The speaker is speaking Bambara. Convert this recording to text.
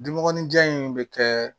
Dunmɔgɔninjan in bɛ kɛ